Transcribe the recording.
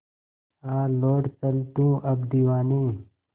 आ लौट चल तू अब दीवाने